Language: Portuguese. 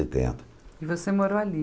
Setenta E você morou ali?